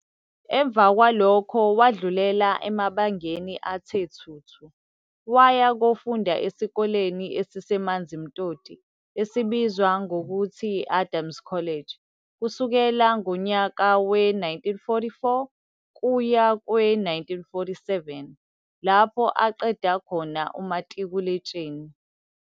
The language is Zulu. Emva kwalokho wadlulela emabangeni athe thuthu, waya kofunda esikoleni esiseManzimtoti esibizwa ngokuthi Adams College kusukela ngonyaka we-1944 kuya kwe-1947 lapho aqeda khona umatikuletsheni.